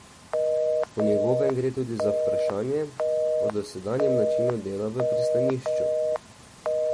Po njegovem gre tudi za vprašanje o dosedanjem načinu dela v pristanišču.